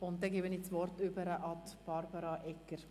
Nun übergebe ich das Wort Regierungsrätin Barbara Egger.